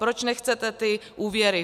Proč nechcete ty úvěry?